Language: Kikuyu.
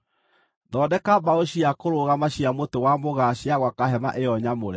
“Thondeka mbaũ cia kũrũgama cia mũtĩ wa mũgaa cia gwaka hema ĩyo nyamũre.